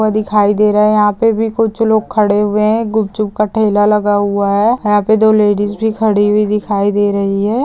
दिखाई दे रहे है यहाँ पे भी कु्छ लोग खड़े हुए है गुपचुप का ठेला लगा हुआ है यहाँ पे दो लेडिज भी खड़ी हुई दिखाई दे रही है।